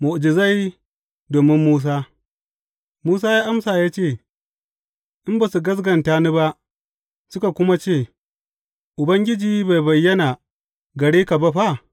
Mu’ujizai domin Musa Musa ya amsa ya ce, In ba su gaskata ni ba, suka kuma ce, Ubangiji bai bayyana gare ka ba fa’?